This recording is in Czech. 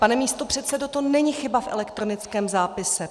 Pane místopředsedo, to není chyba v elektronickém zápise.